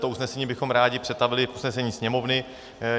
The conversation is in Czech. To usnesení bychom rádi přetavili v usnesení Sněmovny.